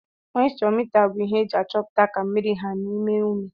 moischọ mita bu ihe eji achọputa ka mmiri ha n'ime umi.